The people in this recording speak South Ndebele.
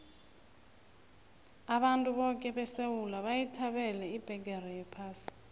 abantu boke besewula bayithabela ibheqere yephasi